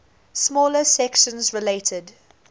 smaller sections related